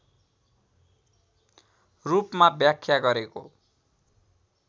रूपमा व्याख्या गरेको